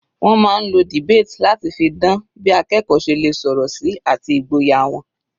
Wọ́n máa ń lo debate láti fi dan bí akẹ́kọ̀ọ́ ṣe lè sọ̀rọ̀ sí àti ìgboyà wọn.